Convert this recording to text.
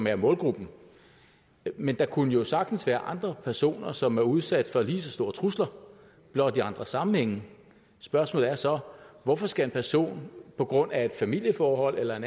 er målgruppen men der kunne jo sagtens være andre personer som er udsat for lige så store trusler blot i andre sammenhænge spørgsmålet er så hvorfor skal en person på grund af et familieforhold eller